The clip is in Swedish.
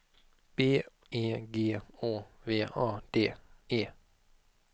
B E G Å V A D E